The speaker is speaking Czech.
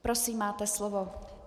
Prosím, máte slovo.